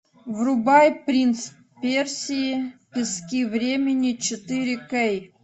врубай принц персии пески времени четыре кей